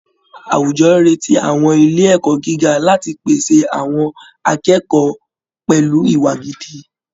Àwùjọ retí àwọn ilé ẹ̀kọ́ gíga láti pèsè àwọn akẹ́kọ̀ọ́ pẹ̀lú ìwà gidi